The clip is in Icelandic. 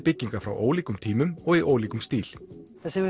byggingar frá ólíkum tímum og í ólíkum stíl það sem við